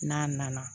N'a nana